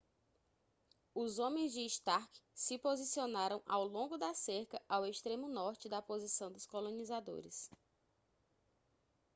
os homens de stark se posicionaram ao longo da cerca ao extremo norte da posição dos colonizadores